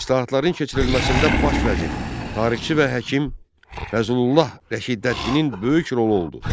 İslahatların keçirilməsində baş vəzir, tarixçi və həkim Fəzlullah Rəşiddəddinin böyük rolu oldu.